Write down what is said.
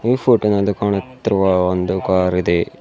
ಈ ಫೋಟೋ ನಲ್ಲಿ ಕಾಣುತ್ತಿರುವ ಒಂದು ಕಾರ್ ಇದೆ.